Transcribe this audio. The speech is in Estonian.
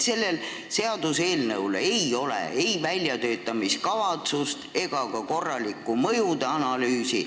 Sellel seaduseelnõul ei ole ei väljatöötamiskavatsust ega ka korralikku mõjude analüüsi.